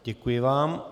Děkuji vám.